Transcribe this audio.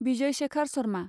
Vijay Shekhar Sharma